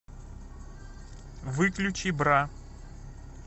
выключи бра